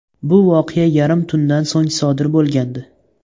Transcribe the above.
Bu voqea yarim tundan so‘ng sodir bo‘lgandi.